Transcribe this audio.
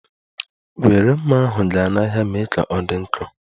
Were mma ahụ gaa n'ahịa ma mee ka ọ dị nkọ!